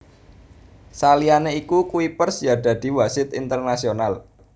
Saliyané iku Kuipers ya dadi wasit internasional